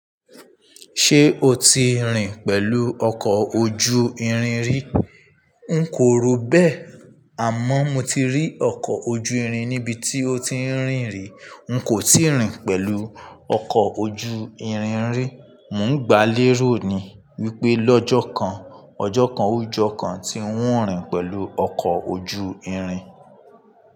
Ṣé o ti rìn pẹ̀lú ọkọ̀ ojú irin rí? N kò ro bẹ́ẹ̀, àmọ́ mo ti rí ọkọ̀ ojú irin níbi tí ó ti ń rìn rí. N kò ti rìn pẹ̀lú ọkọ̀ ojú irin rí. Mò ń gbá lé ro ni wípé lọ́jọ́ kan, ọjọ́ kan, o jọkàn ti ń óun rìn pẹ̀lú ọkọ̀ ojú irin.